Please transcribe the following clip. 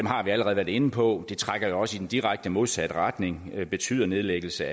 har vi allerede været inde på det trækker jo også i den direkte modsatte retning og betyder nedlæggelse